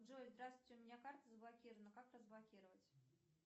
джой здравствуйте у меня карта заблокирована как разблокировать